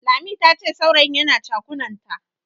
Lami tace saurayin yana chakunanta.